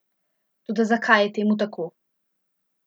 Toda zakaj je temu tako?